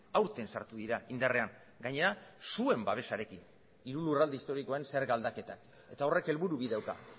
aurten sartu dira indarrean gainera zuen babesarekin hiru lurralde historikoen zerga aldaketak eta horrek helburu bi dauka